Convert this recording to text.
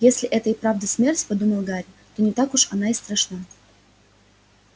если это и правда смерть подумал гарри то не так уж она и страшна